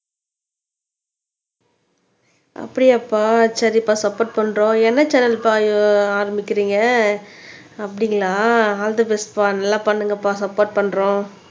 அப்படியாப்பா சரிப்பா சப்போர்ட் பண்றோம் என்ன சேனல்பா ஆரம்பிக்கிறீங்க அப்படிங்களா ஆல் த பெஸ்ட்பா நல்லா பண்ணுங்கப்பா சப்போர்ட் பண்றோம்